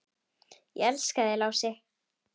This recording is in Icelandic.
Ég elska þig, Lási.